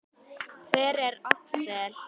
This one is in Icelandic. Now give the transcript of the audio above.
Hver er Axel?